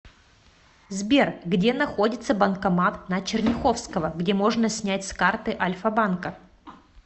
сбер где находится банкомат на черняховского где можно снять с карты альфа банка